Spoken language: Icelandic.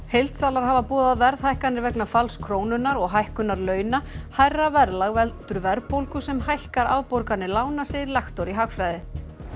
heildsalar hafa boðað verðhækkanir vegna falls krónunnar og hækkunar launa hærra verðlag veldur verðbólgu sem hækkar afborganir lána segir lektor í hagfræði